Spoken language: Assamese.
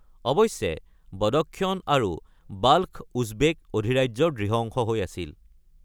অৱশ্যে, বদক্ষন আৰু বাল্খ উজবেক অধিৰাজ্যৰ দৃঢ় অংশ হৈ আছিল।